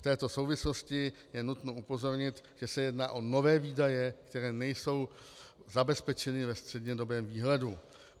V této souvislosti je nutno upozornit, že se jedná o nové výdaje, které nejsou zabezpečeny ve střednědobém výhledu.